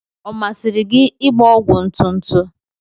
Ọ masịrị gị ịgba ọgwụ ntụtụ?